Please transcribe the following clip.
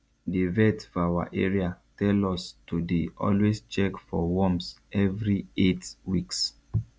the vet for our area tell us to dey always check for worms every eight weeks